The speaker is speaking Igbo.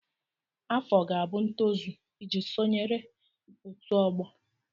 Afọ ga-abụ ntozu iji sonyere ọtu ogbo.